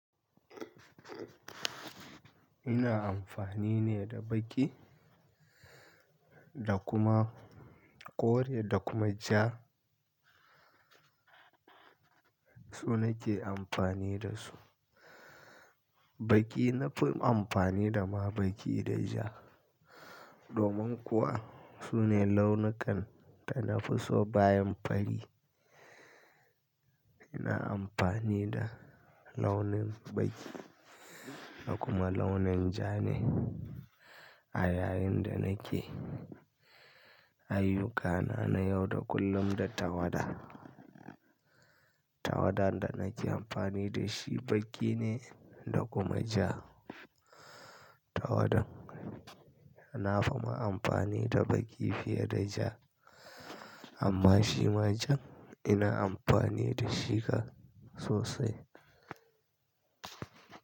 Ina amfani ne da baƙi da kuma kore da kuma ja. Su nake amfani da su. Baƙi na fi amfani da ma baƙi da ja. Domin kuwa su ne launukan da na fi so bayan fari. Ina amfani da launin baƙi da kuma launin ja ne a yayin da nake ayyukana na yau da kullum da tawada. Tawadan da nake amfani da shi baƙi ne da kuma ja. Tawada na fi ma amfani da baƙi fiye da ja. Amma shima jan ina amfani da shi sosai.